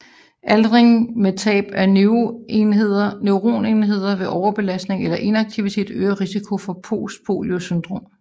Aldring med tab af neuronenheder ved overbelastning eller inaktivitet øger risikoen for postpolio syndrom